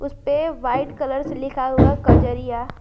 इसपे white colour से लिखा हुआ है कजरिया।